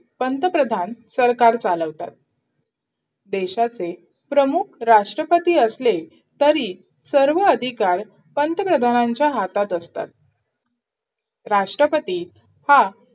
पंतप्रधान सरकार चालवतात देशाचे प्रमुख राष्ट्रपती असतात, तरी सर्व अधिकार पंतप्रधानांच्या हातात असतात राष्ट्रपती हा